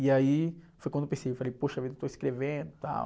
E aí foi quando eu pensei, eu falei, poxa vida, eu estou escrevendo e tal.